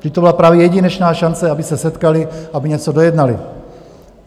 Vždyť to byla právě jedinečná šance, aby se setkali, aby něco dojednali.